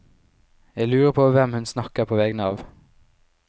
Jeg lurer på hvem hun snakker på vegne av.